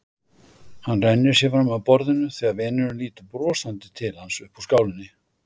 Hann rennir sér fram af borðinu þegar vinurinn lítur brosandi til hans upp úr skálinni.